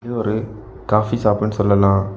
ஒரு காபி ஷாப்ன்னு சொல்லலாம்.